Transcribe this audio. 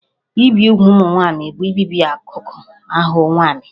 Ibi úgwù ụmụ nwaanyị bụ ibibi akụkụ ahụ nwanyị